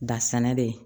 Da sɛnɛ de ye